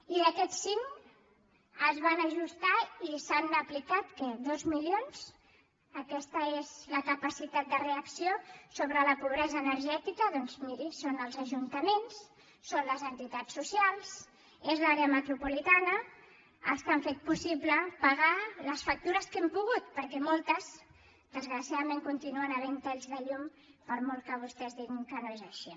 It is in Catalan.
i d’aquests cinc es van ajustar i se n’han aplicat què dos milions aquesta és la capacitat de reacció sobre la pobresa energètica doncs miri són els ajuntaments són les entitats socials és l’àrea metropolitana els que han fet possible pagar les factures que hem pogut perquè a moltes desgraciadament hi continuen havent talls de llum per molt que vostès diguin que no és així